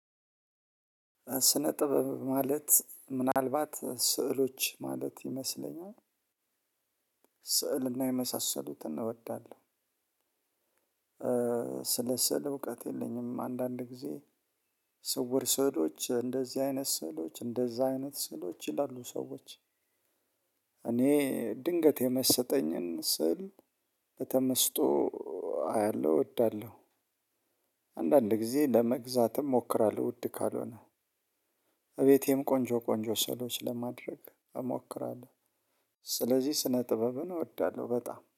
ስነጥብ ማለት ምናልባት ስዕሎች ማለት ይመስለኛል ስዕልና የመሳሰሉትን እወዳለሁ። ስለ ስዕል እውቀት የለኝም አንዳንድ ጊዜ። ስውር ስዕሎች እንደዚህ አይነት ስዕሎች እንደዛ አይነት ስዕሎች ይላሉ ሰዎች። እኔ ድንገት የመሰጠኝን ስዕል በተመስጦ አያለሁ እወዳለሁ። አንዳንድ ጊዜ ለመግዛትም ሞክራለሁ ውድ ካልሆነ። እቤቴም ቆንጆ ቆንጆ ሰዕሎች ለማድረግ እሞክራለሁ። ስለዚህ ስነ ጥበብን እወዳለሁ በጣም